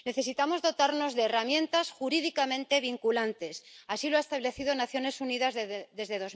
Necesitamos dotarnos de herramientas jurídicamente vinculantes. Así lo han establecido las Naciones Unidas desde